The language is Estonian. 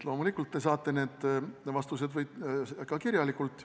Loomulikult te võite need vastused saada ka kirjalikult.